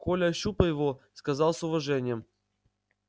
коля ощупай его сказал с уважением